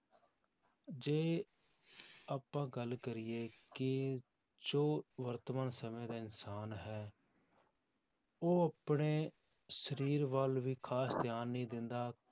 ਜੇ ਆਪਾਂ ਗੱਲ ਕਰੀਏ ਕਿ ਜੋ ਵਰਤਮਾਨ ਸਮੇਂ ਦਾ ਇਨਸਾਨ ਹੈ ਉਹ ਆਪਣੇ ਸਰੀਰ ਵੱਲ ਵੀ ਖ਼ਾਸ ਧਿਆਨ ਨਹੀਂ ਦਿੰਦਾ